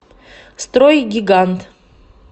стройгигант